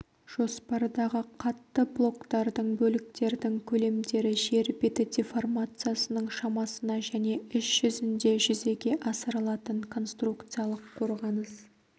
жоспардағы қатты блоктардың бөліктердің көлемдері жер беті деформациясының шамасына және іс жүзінде жүзеге асырылатын конструкциялық қорғаныс